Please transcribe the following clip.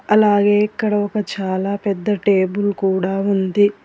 అలాగే ఇక్కడ ఒక చాలా పెద్ద టేబుల్ కూడా ఉంది.